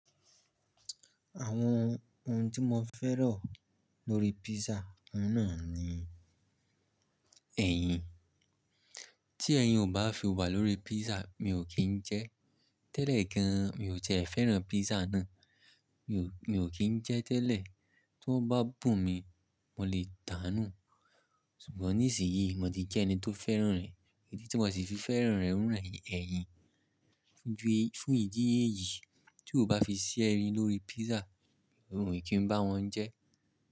Àwọn ohun tí mo fẹ́ràn lórí pizza, òun náà ni ẹyin. Tí ẹyin ò bá fi wà lórí pízzà mi ò kín jẹ ẹ́. Tẹ́lẹ̀ gan mi ò tiẹ́ fẹ́ràn pízza náà, mi ò kín jẹ ẹ́ tẹ́lẹ̀. Tón bá bùn mi, mo lè dànù. Ṣùgbọ́n nísìnyí mo ti jẹ́ ẹni tó fẹ́ràn rẹ̀, idí tí mo sì fi fẹ́ràn rẹ̀ ouń naa ni ẹyin. Fún ìdí èyí tí ó bá fi sí ẹyin lórí pizza, mi ò kín bá wọn jẹ ẹ́.